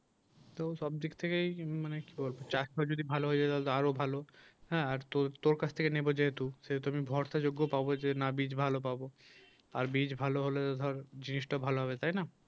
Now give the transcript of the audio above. তো সব দিক থেকেই মানে কি বলবো কাজটা যদি ভালো হয়ে যায় তাহলে আরো ভালো হ্যাঁ আর তোর তোর কাছ থেকে নেব যেহেতু সেহেতু ভরসাযোগ্য পাব না বীজ ভালো পাবো আর বীজ ভালো হলে ধর জিনিসটা ভালো হবে তাই না